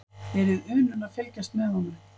Verið unun að fylgjast með honum.